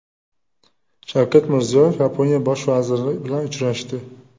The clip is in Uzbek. Shavkat Mirziyoyev Yaponiya bosh vaziri bilan uchrashdi .